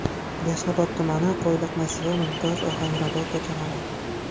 Yashnobod tumani: Qo‘yliq massivi, Mumtoz, Ohangrabo ko‘chalari.